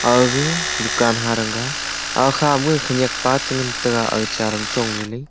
aga dukan harangah akhama khaniak pa changantega aga chair ma chong lele.